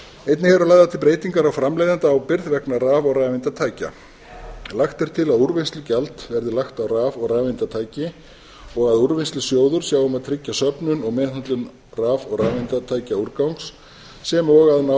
einnig eru lagðar til breytingar á framleiðendaábyrgð vegna raf og rafeindatækja lagt er til að úrvinnslugjald verði lagt á raf og rafeindatæki og að úrvinnslusjóður sjái um að tryggja söfnun og meðhöndlun raf og rafeindatækja úrgangs sem og að